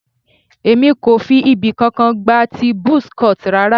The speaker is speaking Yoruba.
Èmi kò fi ibì kankan gba ti buzz cut rara.